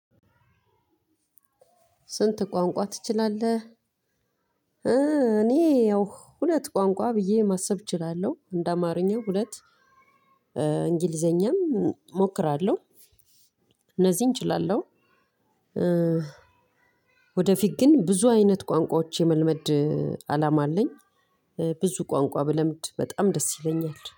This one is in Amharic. ስንት? ቋንቋ ትችላለህ እኔ ያው ሁለት ቋንቋ ብዬ ማሰብ እችላለሁ እንደ አማርኛ ሁለት እንግሊዘኛም እሞክራለሁ። እነዚህን እችላለሁ። ወደፊት ግን ብዙ አይነት ቋንቋዎች የመልመድ አላማ አለኝ። ብዙ ቋንቋ ብለምድ በጣም ደስ ይለኛል